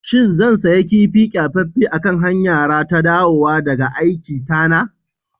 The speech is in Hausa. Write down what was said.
shin zan sayi kifi kyafaffen a kan hanyara ta dawowa daga aikiita na